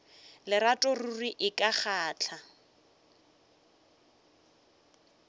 lerato ruri e ka kgahla